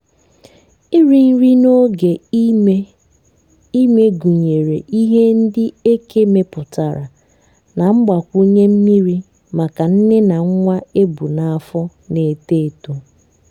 iri nri n'oge ime ime gụnyere ihe ndị eke mepụtara na mgbakwunye mmiri maka nne na nwa ebu n'afọ na-eto etọ